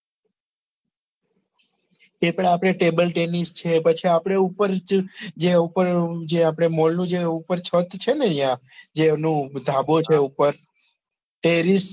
ત્યાં આગળ આપડે ટેબલ ટેનીસ છે પછી આપડે ઉપર જે ઉપર જે આપડે mall નું જે ઉપર છત છે ને ન્યા જે એનું ધાબુ છે ઉપર તેરીસ